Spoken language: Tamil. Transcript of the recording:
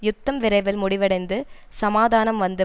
யுத்தம் விரைவில் முடிவடைந்து சமாதானம் வந்து